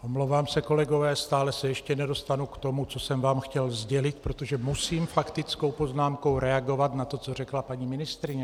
Omlouvám se, kolegové, stále se ještě nedostanu k tomu, co jsem vám chtěl sdělit, protože musím faktickou poznámkou reagovat na to, co řekla paní ministryně.